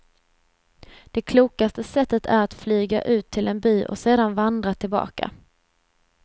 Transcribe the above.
Det klokaste sättet är att flyga ut till en by och sedan vandra tillbaka.